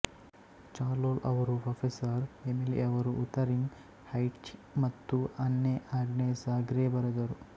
ಚಾರ್ಲೊಲ್ ಅವರು professor Emily ಅವರು Wuthering Heights ಮತ್ತು ಅನ್ನೆ ಆಗ್ನೆಸ ಗ್ರೇ ಬರೆದರು